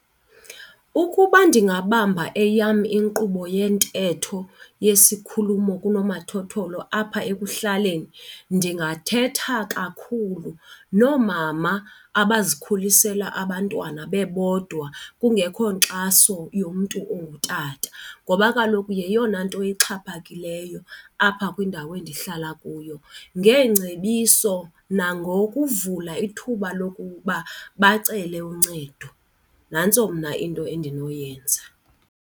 Ukuba ndingabamba eyam inkqubo yentetho yesikhulumo kunomathotholo apha ekuhlaleni ndingathetha kakhulu noomama abazikhulisela abantwana bebodwa kungekho nkxaso yomntu ongutata ngoba kaloku yeyona nto ixhaphakileyo apha kwindawo endihlala kuyo, ngeengcebiso nangokuvula ithuba lokuba bacele uncedo. Nantso mna into endinoyenza.